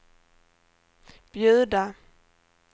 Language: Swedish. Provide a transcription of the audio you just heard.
bjuda